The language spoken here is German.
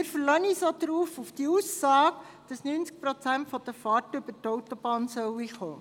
Zudem verlassen wir uns auch auf die Aussage, dass 90 Prozent der Fahrten über die Autobahn kommen werden.